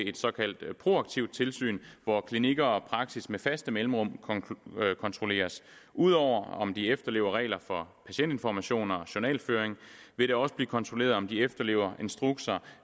et såkaldt proaktivt tilsyn hvor klinikker og praksis med faste mellemrum kontrolleres ud over om de efterlever regler for patientinformation og journalføring vil det også blive kontrolleret om de efterlever instrukser